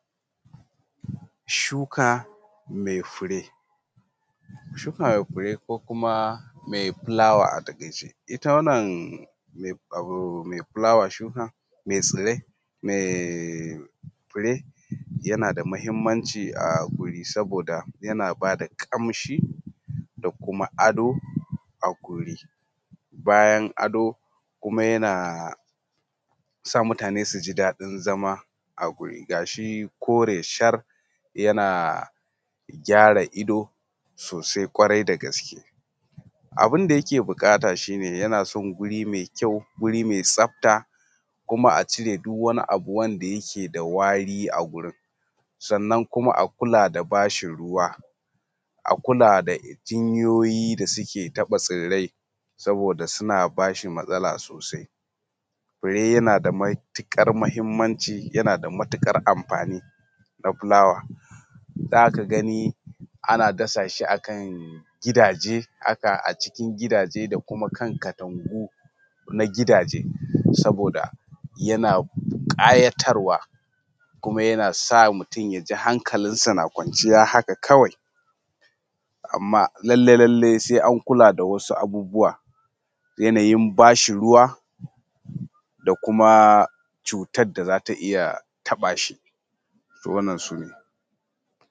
Shuka mai fure. Shuka mai fure ko kuma mai fulawa a taƙaice ita wannan mai fulawa shuka mai tsirrai mai fure yana da muhinmanci a wuri saboda yana ba da ƙamshi da kuma ado a guri. Bayan ado kuma yana sa mutune su ji daɗin zama a a guri kuma gashi kore shar yana gyara ido sosai ƙwarai da gaske. Abin da yake buƙata shi ne yana son guri mai kyau, guri mai tsafta, kuma a cire duk wani abu wanda yake da wari a gurin. Sannan kuma a kula da ba shi ruwa, a kula da jinyoyi da suke taɓa tsirrai saboda suna ba shi matsala sosai. Fure yana da matuƙar muhinmanci, yana da matuƙar anfani na fulawa tun da aka gani ana dasa shi a kan gidaje haka a cikin gidaje da kuma kan katangu, na gidaje saboda yana ƙayatarwa, kuma yana sa mutun ya ji hankalin sa na kwanciya haka kawai. Amma lallai lallai sai an kula da wasu abubuwa. Yanayin ba shi ruwa da kuma cutar da za ta iya taɓa shi to wannan su ne.